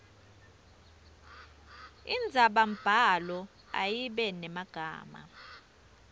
indzabambhalo ayibe nemagama